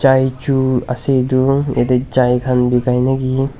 chai chun ase edu yaate chai khan bikai naki.